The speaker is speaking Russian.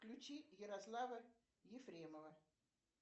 включи ярослава ефремова